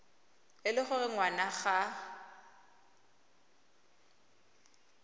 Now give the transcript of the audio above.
e le gore ngwana ga